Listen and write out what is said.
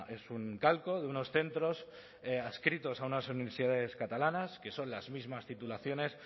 es un calco de unos centros adscritos a unas universidades catalanas que son las mismas titulaciones